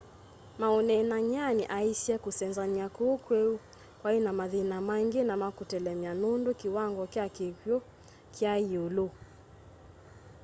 maũneenany'anĩ aaisye kũsenzanya kũu kweũ kwaĩnamathĩna maĩngĩ na makũtelemya nũndũ kiwango kya kĩkw'ũ kyai yiulu